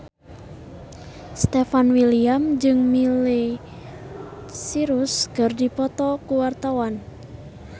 Stefan William jeung Miley Cyrus keur dipoto ku wartawan